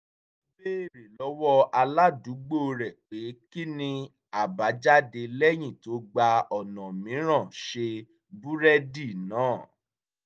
ó béèrè lọ́wọ́ aládùúgbò rẹ̀ pé kí ni àbájáde lẹ́yìn tó gba ọ̀nà mìíràn ṣe búrẹ́dì náà